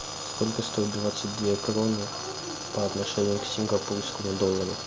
сколько стоят двадцать две кроны по отношению к сингапурскому доллару